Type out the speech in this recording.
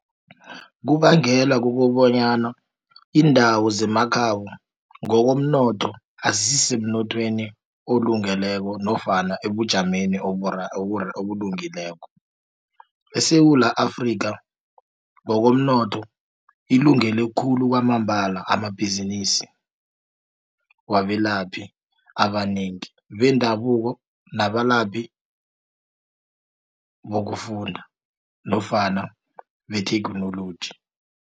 Kubangela kukobanyana indawo zemakhabo ngokomnotho, izisisemnothweni olungileko nofana ebujameni obulungileko. ESewula Afrika ngokomnotho ilungele khulu kwamambala, amabhizinisi wabelaphi abanengi bendabuko, nabalaphi bokufunda nofana betheknoloji.